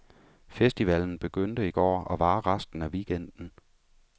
Festivalen begyndte i går og varer resten af weekenden.